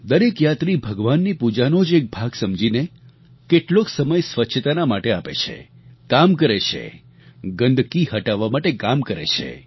દરેક યાત્રી ભગવાનની પૂજાનો જ એક ભાગ સમજીને કેટલોક સમય સ્વચ્છતાના માટે આપે છે કામ કરે છે ગંદકી હટાવવા માટે કામ કરે છે